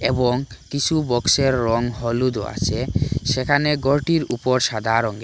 এবং কিসু বক্সের রং হলুদও আসে সেখানে গরটির ওপর সাদা রঙে--